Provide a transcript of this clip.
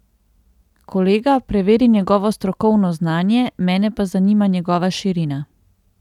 Kolega preveri njegovo strokovno znanje, mene pa zanima njegova širina.